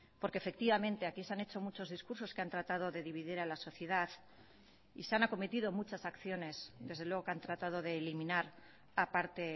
porque efectivamente aquí se han hecho muchos discursos que han tratado de dividir a la sociedad y se han acometido muchas acciones desde luego que han tratado de eliminar a parte